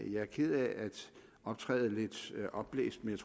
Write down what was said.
jeg er ked af at optræde lidt opblæst men